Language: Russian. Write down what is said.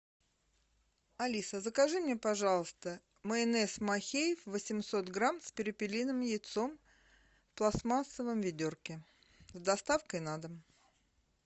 алиса закажи мне пожалуйста майонез махеев восемьсот грамм с перепелиным яйцом в пластмассовом ведерке с доставкой на дом